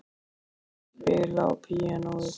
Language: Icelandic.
Hún er að spila á píanóið.